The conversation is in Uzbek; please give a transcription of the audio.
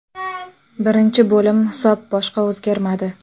Birinchi bo‘lim hisob boshqa o‘zgarmadi.